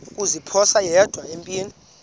kuziphosa yedwa empini